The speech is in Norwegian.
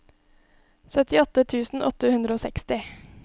syttiåtte tusen åtte hundre og seksti